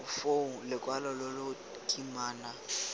foo lokwalo lo lo kimana